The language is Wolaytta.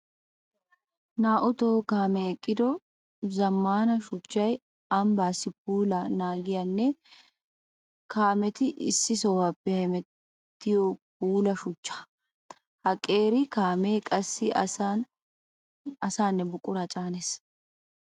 Naa'u tohuwa kaame eqiddo zamaana shuchchay ambbassi puula naagiyaanne kaametti issi sohuwappe hemettiyo puula shuchcha. Ha qeeri kaame qassi asaanne buqura caanees.